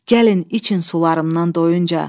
Gəlin için sularımdan doyuncaya.